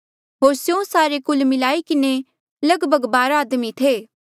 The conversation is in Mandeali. होर स्यों सारे कुल मिलाई किन्हें लगभग बारा आदमी थे